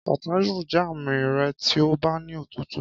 Kàtá yóò jẹ́ àmì rẹ tí ó bá ní òtútù.